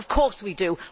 Of course we do.